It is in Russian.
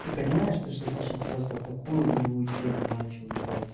ты понимаешь то что ты сейчас просто такую гнилую тему начал ебать